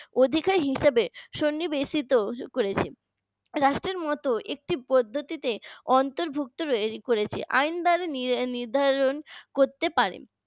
অধিকার হিসেবে সুন্নিবেশিত করেছে রাষ্ট্রের মতো একটি পদ্ধতিতে অন্তর্ভুক্ত করেছে আইন দ্বারা নির্ধারণ করতে পারে